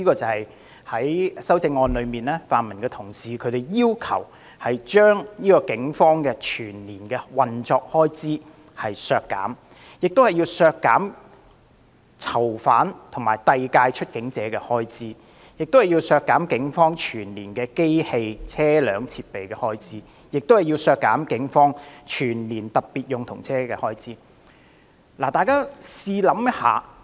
泛民同事提出修正案，要求削減警隊運作的全年預算開支、囚犯及遞解出境者的全年預算開支、警方機器、車輛及設備的全年預算開支，以及警方特別用途車的全年預算開支。